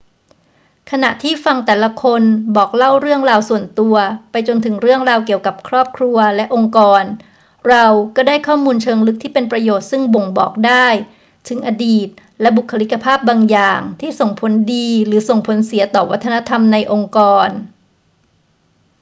ขณะที่ฟังแต่ละคนบอกเล่าเรื่องราวส่วนตัว ไปจนถึงเรื่องราวเกี่ยวกับครอบครัวและองค์กร เราก็ได้ข้อมูลเชิงลึกที่เป็นประโยชน์ซึ่งบ่งบอกได้ถึงอดีตและบุคลิกภาพบางอย่างที่ส่งผลดีหรือส่งผลเสียต่อวัฒนธรรมในองค์กร